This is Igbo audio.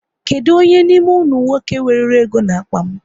Kedụ onye n'ime unu nwoke weruru ego n'akpa m